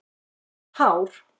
Gott hár.